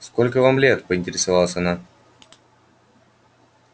сколько вам лет поинтересовалась она